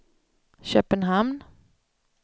Köpenhamn